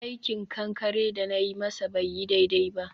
aikin kankare da na yi masa bai yi daidai ba.